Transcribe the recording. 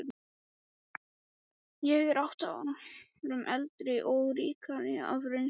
Ég er átta árum eldri og ríkari af reynslu.